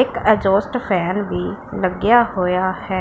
ਇੱਕ exhaust fan ਵੀ ਲੱਗਿਆ ਹੋਇਆ ਹੈ।